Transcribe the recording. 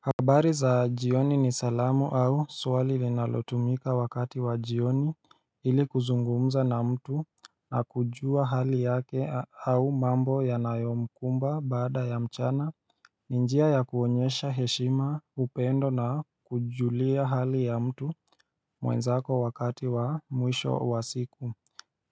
Habari za jioni ni salamu au swali linalotumika wakati wa jioni ili kuzungumza na mtu na kujua hali yake au mambo yanayomkumba baada ya mchana ni njia ya kuonyesha heshima, upendo na kujulia hali ya mtu mwenzako wakati wa mwisho wa siku